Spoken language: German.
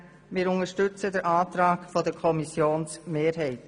Wir unterstützen den Antrag der Kommissionsmehrheit.